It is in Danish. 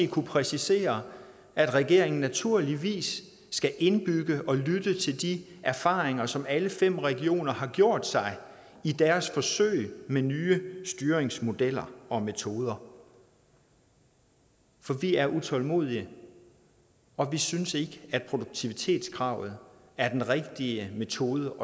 kunne præcisere at regeringen naturligvis skal indbygge og lytte til de erfaringer som alle fem regioner har gjort sig i deres forsøg med nye styringsmodeller og metoder for vi er utålmodige og vi synes ikke at produktivitetskravet er den rigtige metode